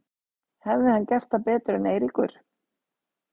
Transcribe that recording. Hefði hann gert það betur en Eiríkur?